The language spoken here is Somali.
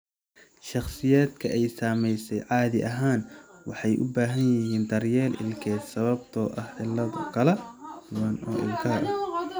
Shakhsiyaadka ay saameysay caadi ahaan waxay u baahan yihiin daryeel ilkeed sababtoo ah cillado kala duwan oo ilkaha ah.